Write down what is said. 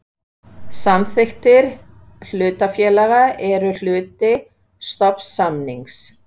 Samþykktir hlutafélaga eru hluti stofnsamnings.